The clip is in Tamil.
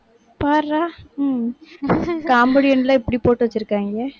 பார்றா உம் comedian எல்லாம் இப்படி போட்டு வச்சிருக்காங்க.